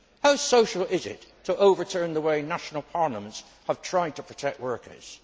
How social is it to overturn the way national parliaments have tried to protect workers?